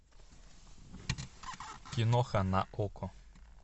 киноха на окко